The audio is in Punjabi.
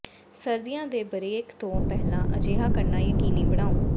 ਸਰਦੀਆਂ ਦੇ ਬਰੇਕ ਤੋਂ ਪਹਿਲਾਂ ਅਜਿਹਾ ਕਰਨਾ ਯਕੀਨੀ ਬਣਾਓ